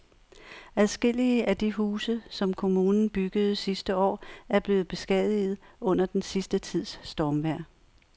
Adskillige af de huse, som kommunen byggede sidste år, er blevet beskadiget under den sidste tids stormvejr.